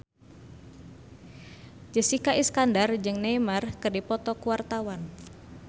Jessica Iskandar jeung Neymar keur dipoto ku wartawan